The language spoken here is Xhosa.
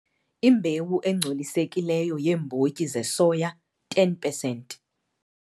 Imbewu engcolisekileyo yeembotyi zesoya - 10 percent.